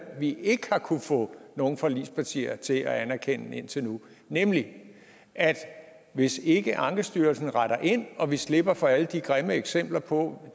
vi ikke har kunnet få nogen forligspartier til at anerkende indtil nu nemlig at hvis ikke ankestyrelsen retter ind og vi slipper for alle de grimme eksempler på